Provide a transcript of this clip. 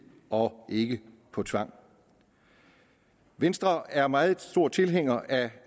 og ikke på tvang venstre er meget stor tilhænger